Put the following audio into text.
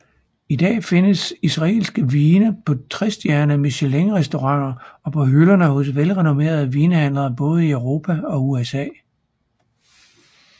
I dag findes israelske vine på trestjerners Michelinrestauranter og på hylderne hos velrenommerede vinhandlere både i Europa og USA